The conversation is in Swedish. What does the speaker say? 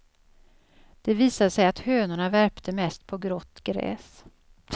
Det visade sig att hönorna värpte mest på grått gräs.